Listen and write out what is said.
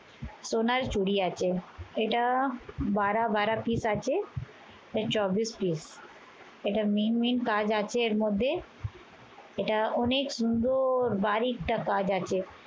সোনার চুড়ি আছে। এইটা এটা বারা বারা পিছ আছে, চব্বিশ piece এটার main কাজ আছে এর মধ্যে। এটা অনেক সুন্দর একটা ভারী একটা কাজ আছে।